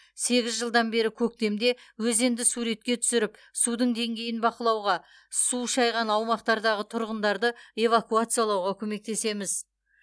сегіз жылдан бері көктемде өзенді суретке түсіріп судың деңгейін бақылауға су шайған аумақтардағы тұрғындарды эвакуациялауға көмектесеміз